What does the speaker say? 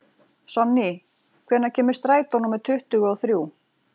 Sonný, hvenær kemur strætó númer tuttugu og þrjú?